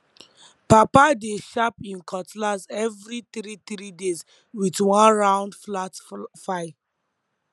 papa dey sharp him cutlass every three three days with one round flat file